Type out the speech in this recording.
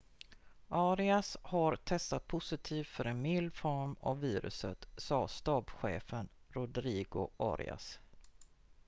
arias har testat positivt för en mild form av viruset sa stabschefen rodrigo arias